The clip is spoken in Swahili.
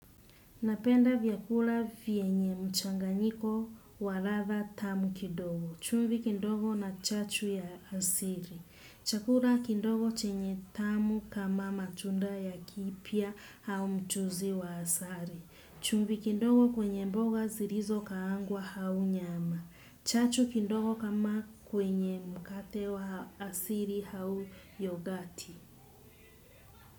Napenda vyakula vienye mchanganyiko wa ladha tamu kidogo. Chumvi kindogo na chachu ya asiri. Chakura kindogo chenye tamu kama matunda ya kipya au mchuzi wa asari. Chumvi kindogo kwenye mboga zirizo kaangwa hau nyama. Chachu kindogo kama kwenye mkate wa asiri hau yogati.